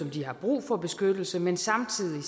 de har brug for beskyttelse men samtidig